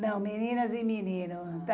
Não, meninas e meninos.